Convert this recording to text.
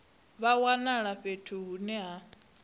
vha wanala fhethu hune ha